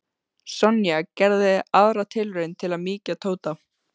Sonja gerði aðra tilraun til að mýkja Tóta.